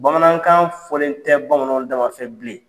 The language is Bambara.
Bamanankan fɔlen tɛ bamanan damafɛ bilen